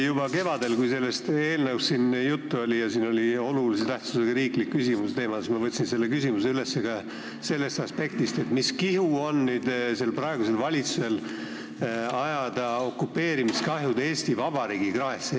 Juba kevadel, kui sellest eelnõust siin juttu oli ja oli arutelul olulise tähtsusega riiklik küsimus, siis ma võtsin selle teema üles ka sellest aspektist, et mis kihu on praegusel valitsusel ajada okupatsioonikahjud Eesti Vabariigi kraesse.